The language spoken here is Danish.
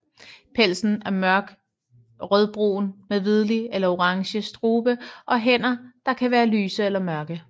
Pelsen er mørkt rødbrun med hvidlig eller orange strube og hænder der kan være lyse eller mørke